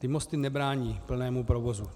Ty mosty nebrání plnému provozu.